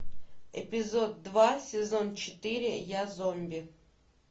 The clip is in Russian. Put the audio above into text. эпизод два сезон четыре я зомби